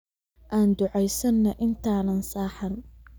Anu ducesano intaanan seexan